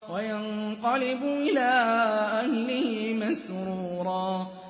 وَيَنقَلِبُ إِلَىٰ أَهْلِهِ مَسْرُورًا